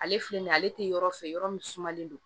Ale filɛ nin ye ale tɛ yɔrɔ fɛ yɔrɔ min sumalen don